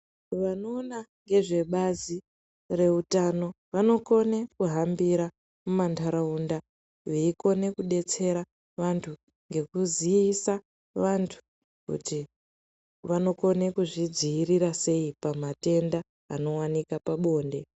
Vanoona ngezve bazi reutano vanokone kuhambira mumanharaunda veikone kudetsera vantu ngekuzisa vantu kuti vanokone kudzidzirira sei pamatenda anowanika pabonde.